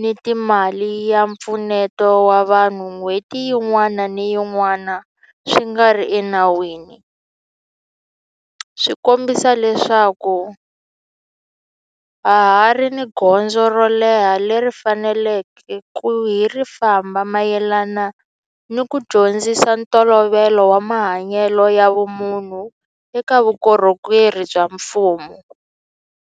ni ka mali ya mpfuneto wa vanhu n'hweti yin'wana ni yin'wana swi nga ri enawini swi kombisa leswaku ha ha ri ni gondzo ro leha leri hi faneleke ku ri famba mayelana ni ku dyondzisa ntolovelo wa mahanyelo ya vumunhu eka vukorhokeri bya mfumo.